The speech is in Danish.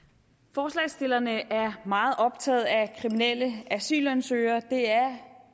forslagsstillerne er meget optaget af kriminelle asylansøgere det er